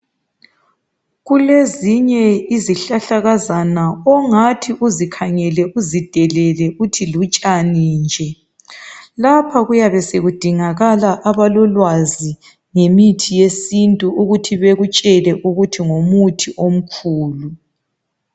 Kuezinye izihlahlakazana ongathi ukhangele uzidelele uthi lutshani nje, lapha kuyabe sokudingakala abalolwazi ngemithi yesintu ukuthi bekutshele ukuthi ngumuthi.